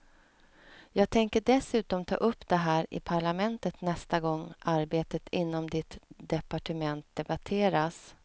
Jag tänker dessutom ta upp det här i parlamentet nästa gång arbetet inom ditt departement debatteras.